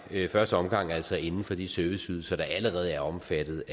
i første omgang altså inden for de serviceydelser der allerede er omfattet